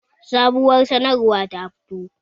Sabuwar sanarwa ta fito